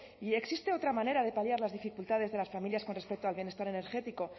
y existe otra manera de paliar las dificultades de las familias con respecto al bienestar energético